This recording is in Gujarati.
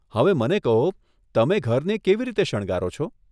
હવે મને કહો, તમે ઘરને કેવી રીતે શણગારો છો?